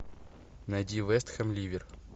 найди вест хэм ливер